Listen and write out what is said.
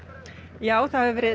já það hefur verið